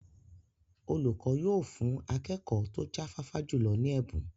Olùkọ́ yóò fún akẹ́kọ̀ọ́ tó jáfáfá jùlọ ní ẹ̀bùn.